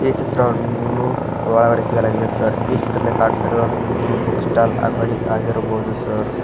ಈ ಚಿತ್ರವನ್ನು ಒಳಗಡೆ ತೆಗೆಯಲಾಗಿದೆ ಸರ್ ಈ ಚಿತ್ರದಲ್ಲಿ ಕಾಣಿಸುತ್ತಿರುವುದೊಂದು ಬುಕ್ ಸ್ಟಾಲ್ ಅಂಗಡಿ ಆಗಿರ್ಬೋದು ಸರ್ .